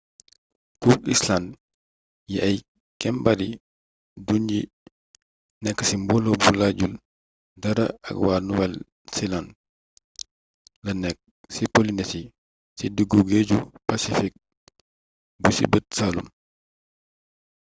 cook island yi ay kembaari dunyi nekk ci mbooloo bu laajul dara ak wa nuwel seland la nekk ci polinesi ci diggu géeju pacfik bu ci bët saalum